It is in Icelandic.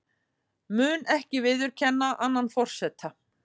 Mun ekki viðurkenna annan forseta